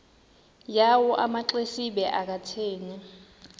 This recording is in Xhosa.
yawo amaxesibe akathethi